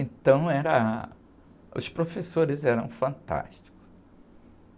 Então, era, os professores eram fantásticos.